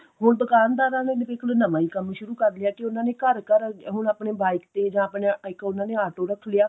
ਹੁਣ ਦੁਕਾਨਦਾਰਾਂ ਨੇ ਨਵਾਂ ਹੀ ਕੰਮ ਸ਼ੁਰੂ ਕਰ ਲਿਆ ਕੀ ਉਹਨਾਂ ਨੇ ਘਰ ਘਰ ਹੁਣ ਆਪਣੇ bike ਤੇ ਜਾਂ ਆਪਣਾ ਇੱਕ ਉਹਨਾ ਨੇ auto ਰੱਖ ਲਿਆ